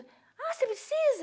Ah, você precisa?